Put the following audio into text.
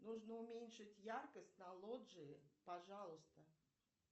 нужно уменьшить яркость на лоджии пожалуйста